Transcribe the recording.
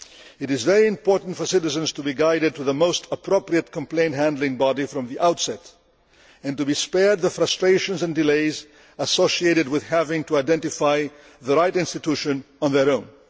It is very important for citizens to be guided to the most appropriate complaint handling body from the outset and to be spared the frustrations and delays associated with having to identify the right institution on their own.